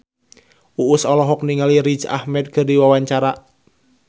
Uus olohok ningali Riz Ahmed keur diwawancara